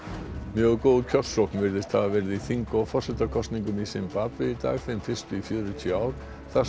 mjög góð kjörsókn virðist hafa verið í þing og forsetakosningum í Simbabve í dag þeim fyrstu í fjörutíu ár þar